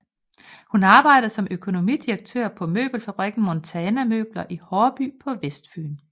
Hun arbejdede som økonomidirektør på møbelfabrikken Montana Møbler i Haarby på Vestfyn